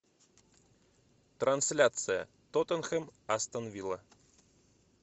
трансляция тоттенхэм астон вилла